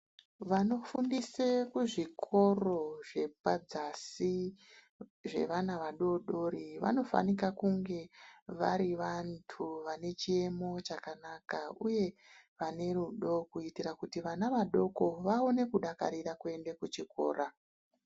Vanofundise kuzvikoro zvepadzasi zvevana vadodori, vanofanika kunge vari vantu vabe chiyemo chakanaka uye vane rudo kuitira kuti vana vadoko vaone kudakarira kuenda kuchikora.